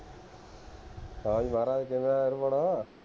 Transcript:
ਹਾਂ ਯਾਰਾ ਕਿਵੇਂ ਹੈਂ